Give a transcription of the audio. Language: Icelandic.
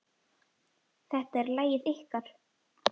Þetta er lagið ykkar.